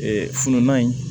Ee fununa in